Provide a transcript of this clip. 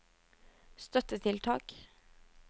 støttetiltak